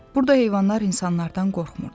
Burda heyvanlar insanlardan qorxmurdu.